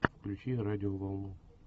включи радиоволну